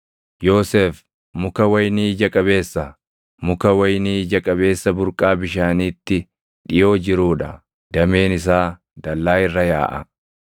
“Yoosef muka wayinii ija qabeessa, muka wayinii ija qabeessa burqaa bishaaniitti dhiʼoo jiruu dha; dameen isaa dallaa irra yaaʼa.